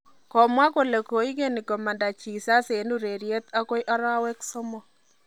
Komwa kole koigeni komanda Jesus en urereiret agoi arawek somok